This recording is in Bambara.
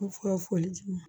foli di